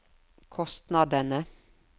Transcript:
kostnadene